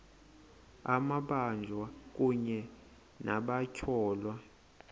amabanjwa kunye nabatyholwa